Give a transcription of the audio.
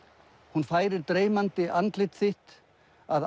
hún færir dreymandi andlit þitt að